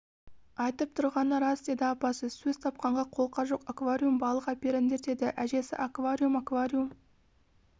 айтып тұрғаны рас деді апасы сөз тапқанға қолқа жоқ аквариум балық әперіңдер деді әжесі аквариум аквариум